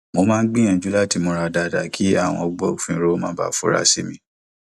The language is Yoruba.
mo máa ń gbiyanju lati múra dáadáa kí àwọn agbofinro má bàa fura sí mi